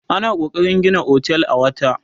ana kokarin Gina otel a wata